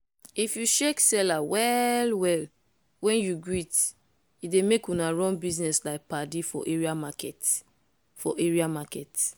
if you shake seller well-well when you greet e dey make una run business like padi for area market. for area market.